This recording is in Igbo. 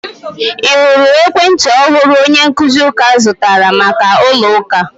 Ị hụrụ ekwentị ọhụrụ onye nkuzi ųka zụtara maka ụlo ųka?